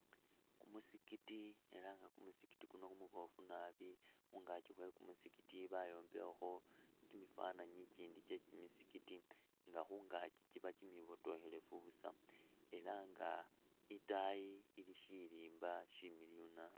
Kumusigiti ela nga kumusigiti kuno kumuboofu naabi, khungaaki khwe kumusigiti bayombekhakho kimifananyi ikindi kyeki kimisigiti nga khungaaki kiba kimibotokhelefu busa ela nga itaayi ili shirimba shimiliyu naabi